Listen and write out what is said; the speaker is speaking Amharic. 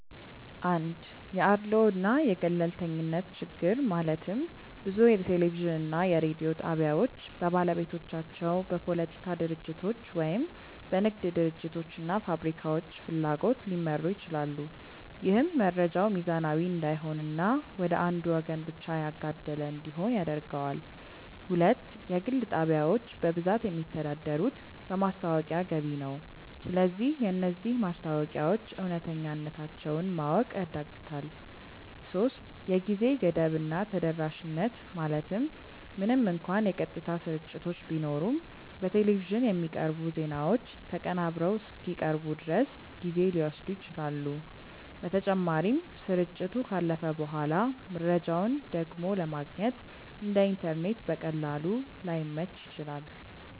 1 የአድልዎ እና የገለልተኝነት ችግር ማለትም ብዙ የቴሌቪዥን እና የሬዲዮ ጣቢያዎች በባለቤቶቻቸው፣ በፖለቲካ ድርጅቶች ወይም በንግድ ድርጅቶች እና ፋብሪካዎች ፍላጎት ሊመሩ ይችላሉ። ይህም መረጃው ሚዛናዊ እንዳይሆን እና ወደ አንዱ ወገን ብቻ ያጋደለ እንዲሆን ያደርገዋል። 2 የግል ጣቢያዎች በብዛት የሚተዳደሩት በማስታወቂያ ገቢ ነው። ስለዚህ የነዚህ ማስታወቂያዎች እውነተኛነታቸውን ማወቅ ያዳግታል 3የጊዜ ገደብ እና ተደራሽነት ማለትም ምንም እንኳን የቀጥታ ስርጭቶች ቢኖሩም፣ በቴሌቪዥን የሚቀርቡ ዜናዎች ተቀናብረው እስኪቀርቡ ድረስ ጊዜ ሊወስዱ ይችላሉ። በተጨማሪም፣ ስርጭቱ ካለፈ በኋላ መረጃውን ደግሞ ለማግኘት (እንደ ኢንተርኔት በቀላሉ) ላይመች ይችላል።